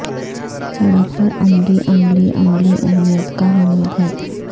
سڑک پر عملی عملی عملی اہمیت کا حامل ہے